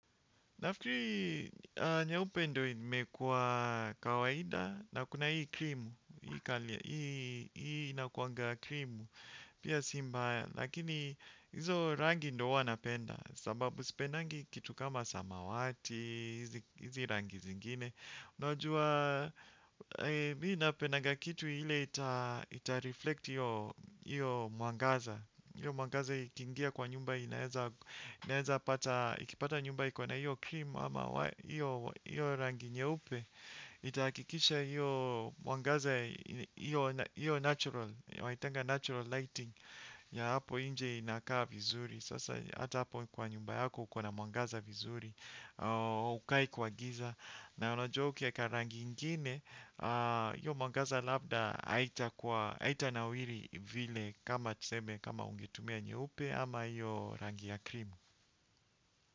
Naafikiri nyeupe ndo imekua kawaida na kuna hii krimu, hii inakuangaa krimu, pia si mbaya, lakini hizo rangi ndo huwa napenda, sababu sipendangi kitu kama samawati, hizi rangi zingine. Unajua, mie napenaga kitu hile itareflect iyo muangaza. Iyo muangaza ikingia kwa nyumba inaeza pata. Ikipata nyumba ikona iyo krimu ama iyo iyo rangi nyeupe. Itakikisha iyo muangaza, iyo natural waitanga natural lighting. Ya hapo inje inakaa vizuri. Sasa ata hapo kwa nyumba yako ukona muangaza vizuri. Ukai kwa giza na unajua ukieka rangi ingine, iyo mwangaza labda haita nawiri vile kama tuseme kama ungetumia nyeupe ama iyo rangi ya krimu.